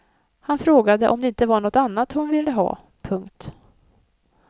Han frågade om det inte var något annat hon ville ha. punkt